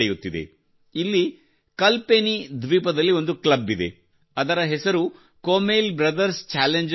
ಇಲ್ಲಿ ಕಲ್ಪೆನಿ ದ್ವೀಪದಲ್ಲಿ ಒಂದು ಕ್ಲಬ್ ಇದೆ ಅದರ ಹೆಸರು ಕೂಮೇಲ್ ಬ್ರದರ್ಸ್ ಛಾಲೆಂಜರ್ಸ್ ಕ್ಲಬ್